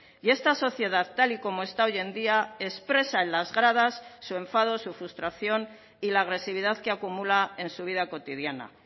y esta sociedad tal y como está hoy en día expresa en las gradas su enfado su frustración y la agresividad que acumula en su vida cotidiana